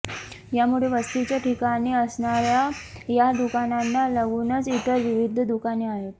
यामुळे वस्तीच्या ठिकाणी असणाऱया या दुकानांना लागूनच इतर विविध दुकाने आहेत